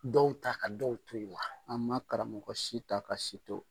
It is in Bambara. Dɔw ta ka dɔw to yen wa an ma karamɔgɔ si ta ka si to